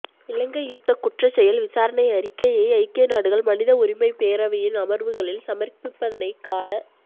இலங்கை யுத்தக் குற்றச் செயல் விசாரணை அறிக்கையை ஐக்கிய நாடுகள் மனித உரிமைப் பேரவையின் அமர்வுகளில் சமர்ப்பிப்பதனை கால